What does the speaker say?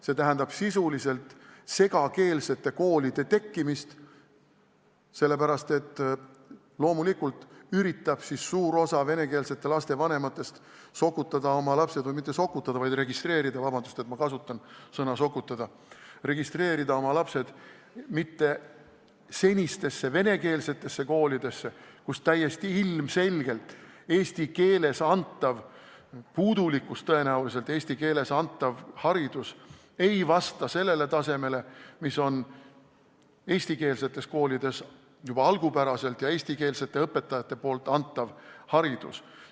See tähendab sisuliselt segakeelsete koolide tekkimist, sellepärast et suur osa venekeelsete laste vanematest üritab siis loomulikult sokutada oma lapsed – mitte "sokutada", vaid "registreerida", palun vabandust, et kasutasin sõna "sokutada" –, registreerida oma lapsed mujale kui senistesse venekeelsetesse koolidesse, kus täiesti ilmselgelt on eesti keeles antav haridus puudulik ega vasta sellele tasemele, mis on eestikeelsetes koolides juba algupäraselt olemasoleval ja eestikeelsete õpetajate poolt antaval haridusel.